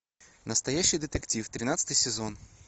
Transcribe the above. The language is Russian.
настоящий детектив тринадцатый сезон